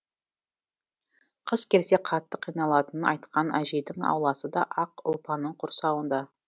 қыс келсе қатты қиналатынын айтқан әжейдің ауласы да ақ ұлпаның құрсауында